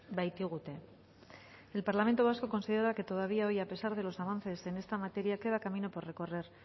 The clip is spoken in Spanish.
baitigute el parlamento vasco considera que todavía hoy a pesar de los avances en esta materia queda camino por recorrer